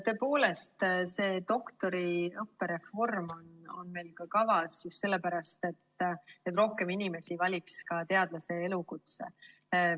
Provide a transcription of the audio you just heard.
Tõepoolest, doktoriõppe reform on meil kavas just sellepärast, et rohkem inimesi valiks teadlase elukutse.